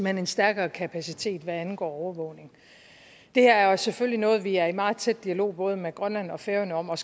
en stærkere kapacitet hvad angår overvågning det her er jo selvfølgelig noget vi er i meget tæt dialog både med grønland og færøerne om og